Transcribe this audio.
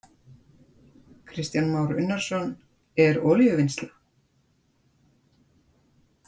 Kristján Már Unnarsson: En olíuvinnsla?